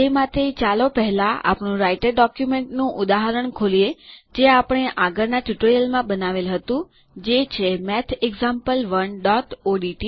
તે માટે ચાલો પહેલાં આપણે આપણું રાઈટર ડોક્યુમેન્ટ નું ઉદાહરણ ખોલીએ જે આપણે આપણાં આગળના ટ્યુટોરીયલોમાં બનાવેલ હતું જે છે mathexample1ઓડીટી